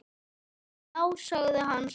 Já, sagði hann svo.